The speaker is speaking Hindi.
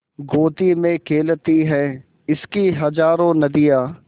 गोदी में खेलती हैं इसकी हज़ारों नदियाँ